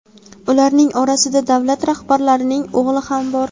Ularning orasida davlat rahbarining o‘g‘li ham bor.